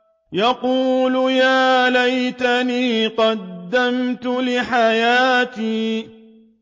يَقُولُ يَا لَيْتَنِي قَدَّمْتُ لِحَيَاتِي